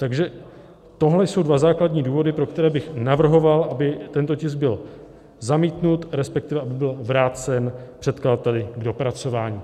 Takže tohle jsou dva základní důvody, pro které bych navrhoval, aby tento tisk byl zamítnut, respektive aby byl vrácen předkladateli k dopracování.